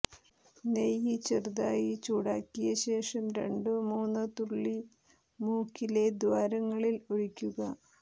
നെയ്യ് ചെറുതായി ചൂടാക്കിയ ശേഷം രണ്ടോ മൂന്നോ തുള്ളി മൂക്കിലെ ദ്വാരങ്ങളിൽ ഒഴിക്കുക